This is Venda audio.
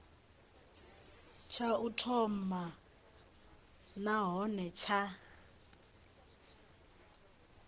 tsha u thoma nahone tsha